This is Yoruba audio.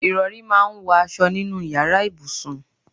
Ìrọ̀rí máa ń wọ aṣọ nínú ìyára ibùsùn.